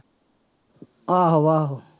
ਆਹੋ ਆਹੋ।